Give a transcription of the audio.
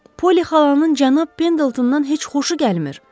Polly xalanın cənab Pendeltondan heç xoşu gəlmir.